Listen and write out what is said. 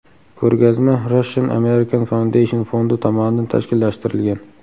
Ko‘rgazma Russian American Foundation fondi tomonidan tashkillashtirilgan.